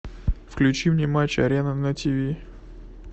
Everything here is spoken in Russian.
включи мне матч арена на тв